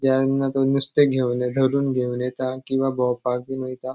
ज्यांना तो नुस्ते घेवन धरून घेवन येता किंवा भोवपाक बीन वयता.